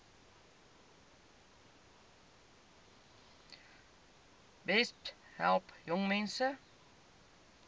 besp help jongmense